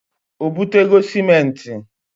O butego simenti?